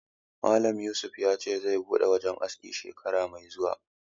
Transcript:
Malam Yusuf ya ce zai buɗe wajen aski shekara mai zuwa